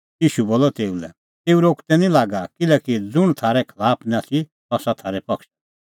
ईशू बोलअ तेऊ लै तेऊ रोकदै निं लागी किल्हैकि ज़ुंण थारै खलाफ निं आथी सह आसा थारै पक्षा दी